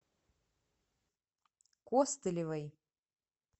костылевой